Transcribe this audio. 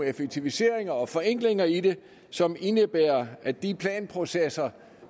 effektiviseringer og forenklinger i det som indebærer at de planprocesser